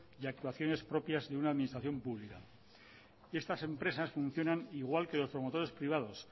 y actuaciones propias de una administración pública estas empresas funcionan igual que los promotores privados